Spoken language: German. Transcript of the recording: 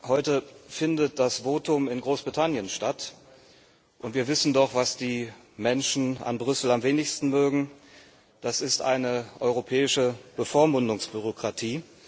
Heute findet das Votum in Großbritannien statt, und wir wissen doch, was die Menschen an Brüssel am wenigsten mögen Das ist eine europäische Bevormundungsbürokratie.